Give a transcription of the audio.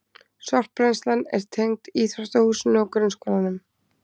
Sorpbrennslan er tengd íþróttahúsinu og grunnskólanum